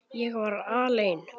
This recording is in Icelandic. Ég var alein.